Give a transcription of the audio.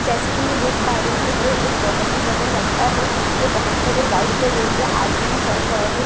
जैसे की मैं देख पा रही हूँ ये एक बहुत ही बड़ा रास्ता है यहाँ पे बहुत सारे बाइक को लेके आदमियाँ चल रहे हैं और उसके साथ --